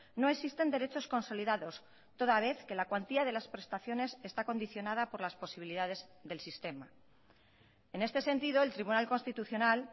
no existen derechos consolidados toda vez que la cuantía de las prestaciones está condicionada por las posibilidades del sistema en este sentido el tribunal constitucional